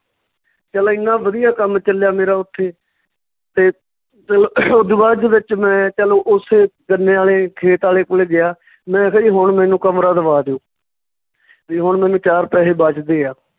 ਚੱਲ ਏਨਾਂ ਵਧੀਆ ਕੰਮ ਚੱਲਿਆ ਮੇਰਾ ਉੱਥੇ ਤੇ ਚੱਲੋ ਓਦੋ ਬਾਅਦ ਦੇ ਵਿੱਚ ਮੈਂ ਚਲੋ ਉਸੇ ਗੰਨੇ ਆਲੇ ਖੇਤ ਆਲੇ ਕੋਲੇ ਗਿਆ ਮੈਂ ਕਿਹਾ ਜੀ ਹੁਣ ਮੈਨੂੰ ਕਮਰਾ ਦਵਾ ਦਓ ਵੀ ਹੁਣ ਮੈਨੂੰ ਚਾਰ ਪੈਸੇ ਬਚਦੇ ਆ